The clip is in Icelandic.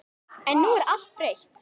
En nú er allt breytt.